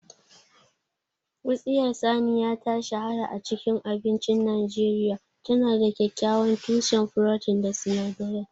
Wutsiyar saniya ta shahara a cikin abincin Najeriya. Tana da kyakkyawan tushen furotin da sinadarai